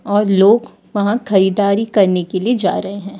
और लोग वहां खरीदारी करने के लिए जा रहे हैं।